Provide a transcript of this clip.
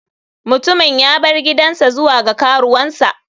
Mutumin ya bar gidansa zuwa ga karuwansa.